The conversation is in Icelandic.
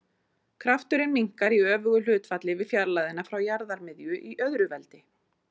Krafturinn minnkar í öfugu hlutfalli við fjarlægðina frá jarðarmiðju í öðru veldi.